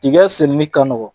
Tigɛ sɛnɛni ka nɔgɔ